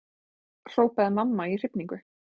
hrópaði mamma í hrifningu.